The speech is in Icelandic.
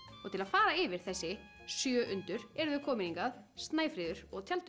til að fara yfir þessi sjö undur eru þau komin hingað Snæfríður og tjaldur